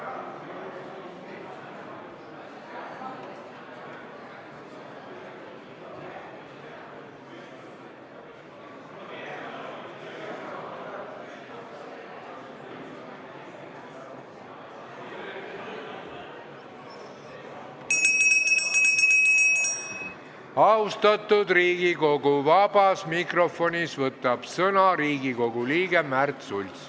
Austatud Riigikogu, vabas mikrofonis võtab sõna Riigikogu liige Märt Sults.